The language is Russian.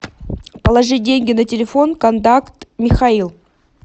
положи деньги на телефон контакт михаил